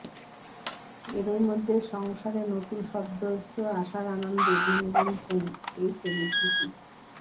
এরই মধ্যে সংসারে নতুন সদস্য আসার আনন্দে দিন গুনছেন এই সেলিব্রিটি